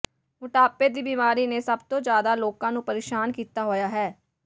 ਮੋਟਾਪੇ ਦੀ ਬੀਮਾਰੀ ਨੇ ਸੱਭ ਤੋਂ ਜ਼ਿਆਦਾ ਲੋਕਾਂ ਨੂੰ ਪ੍ਰੇਸ਼ਾਨ ਕੀਤਾ ਹੋਇਆ ਹੈ